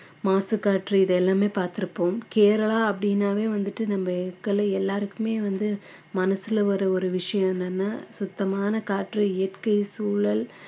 மாசுக்காற்று இது எல்லாமே பார்த்திருப்போம் கேரளா அப்படின்னாவே வந்துட்டு நம்ம எல்லாருக்குமே வந்து மனசுல வர்ற ஒரு விஷயம் என்னன்னா சுத்தமான காற்று இயற்கை சூழல்